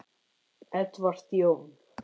Edward Jón.